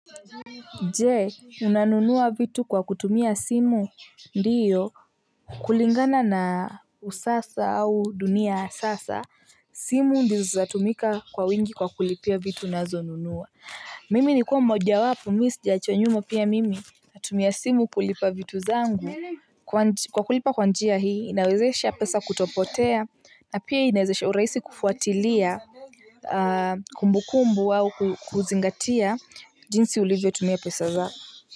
Jee unanunua vitu kwa kutumia simu ndiyo. Kulingana na usasa au dunia ya sasa simu ndizo zatumika kwa wingi kwa kulipia vitu unazonunua. Mimi nikuwa mmoja wapo misijachwa nyuma pia mimi natumia simu kulipa vitu zangu kwa kulipa kwa njia hii inawezesha pesa kutopotea na pia inawezesha uraisi kufuatilia kumbukumbu au kuzingatia jinsi ulivyo tumia pesa zako.